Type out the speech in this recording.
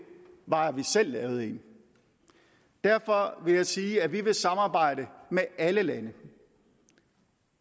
var at man selv lavede en derfor vil jeg sige at vi vil samarbejde med alle lande